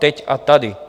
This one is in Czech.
Teď a tady.